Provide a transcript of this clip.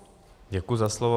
Děkuji za slovo.